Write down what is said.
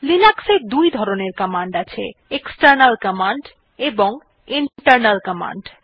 Linux দুই ধরনের command আছে160 এক্সটার্নাল কমান্ড এবং ইন্টারনাল কমান্ড